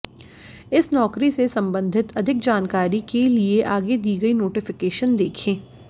इस नाैकरी से संबंधित अधिक जानकारी के लिए आगे दी गई नोटिफिकेशन देखें